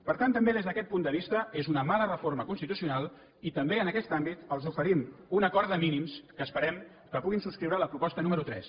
per tant també des d’aquest punt de vista és una mala reforma constitucional i també en aquest àmbit els oferim un acord de mínims que esperem que puguin subscriure a la proposta número tres